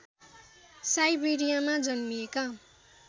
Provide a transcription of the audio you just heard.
साइबेरियामा जन्मिएका